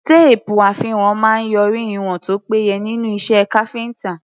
Téèpù àfiwọ̀n máa ń yọrí ìwọ̀n tó péye nínú iṣẹ́ káfíńtà.